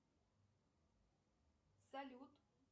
салют